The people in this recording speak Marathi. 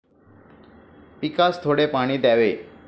पिकास थोडे पाणी द्यावे.